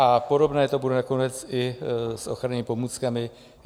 A podobné to bude nakonec i s ochrannými pomůckami.